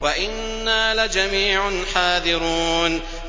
وَإِنَّا لَجَمِيعٌ حَاذِرُونَ